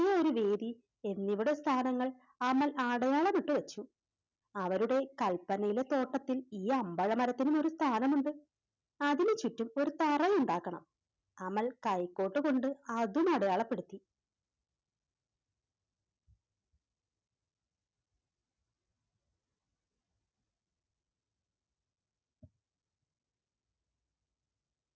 യൊരു വീതിയിൽ എന്നിവയുടെ സ്ഥാനങ്ങൾ അമൽ അടയാളമിട്ടു വെച്ചു അവരുടെ തോട്ടത്തിൽ ഈ അമ്പഴ മരത്തിനും ഒരു സ്ഥാനമുണ്ട് അതിനു ചുറ്റും ഒര് തറയുണ്ടാക്കണം അമൽ കൈക്കോട്ട് കൊണ്ട് അതും അടയാളപ്പെടു